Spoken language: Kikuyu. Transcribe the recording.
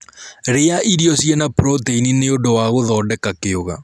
rĩa irio chiina protein nĩũndũ wa guthondeka kiuga